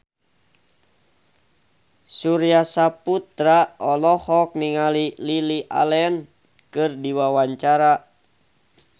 Surya Saputra olohok ningali Lily Allen keur diwawancara